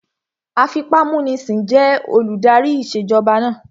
Afipámúnisìn jẹ́ olùdarí ìṣèjọba náà